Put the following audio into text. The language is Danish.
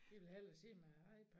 De vil hellere sidde med æ iPad